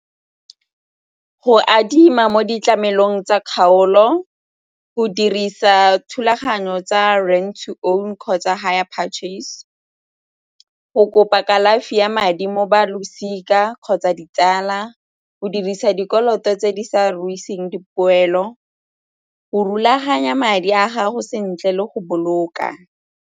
Go adima mo ditlamelong tsa kgaolo, go dirisa thulaganyo tsa kgotsa higher purchase, go kopa kalafi ya madi mo ba losika kgotsa ditsala, go dirisa dikoloto tse di sa ruta e seng dipoelo, go rulaganya madi a gago sentle le go boloka.